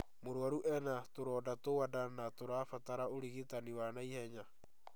Mũrwaru ena tũronda twa nda na tũrabatara ũrigitani wa naihenya